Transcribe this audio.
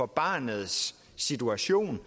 barnets situation